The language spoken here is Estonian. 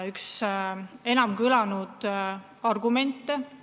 – üks kõige enam kõlanud argumente.